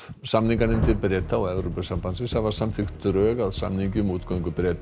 samninganefndir Breta og Evrópusambandsins hafa samþykkt drög að samningi um útgöngu Breta